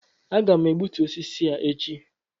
Aga m egbutu osisi a echi